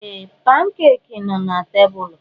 Ee! Pankeeki nọ na tebụlụ.